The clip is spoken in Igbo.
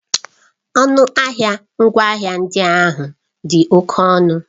Ọnụ ahịa ngwaahịa ndị ahụ dị oke ọnụ.